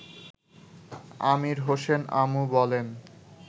আমির হোসেন আমু বলেন